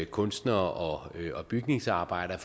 kunstnere og bygningsarbejdere